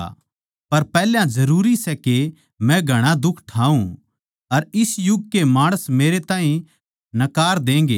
पर पैहल्या जरूरी सै के मै घणा दुख ठावै अर इस युग कै माणस मेरे ताहीं नकार देंगें